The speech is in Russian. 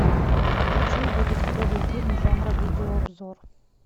хочу увидеть клевый фильм жанра видеообзор